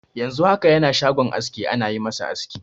Yanzu haka yana shagon aski ana yi ma shi aski.